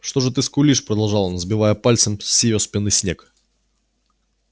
что же ты скулишь продолжал он сбивая пальцем с её спины снег